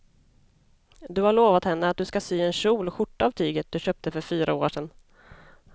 Du har lovat henne att du ska sy en kjol och skjorta av tyget du köpte för fyra år sedan.